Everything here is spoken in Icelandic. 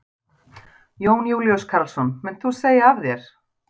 Jón Júlíus Karlsson: Munt þú segja af þér?